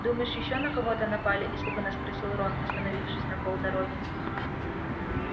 думаешь ещё на кого-то напали испуганно спросил рон остановившись на полдороги